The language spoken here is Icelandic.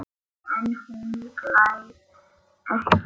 En hún hlær ekki.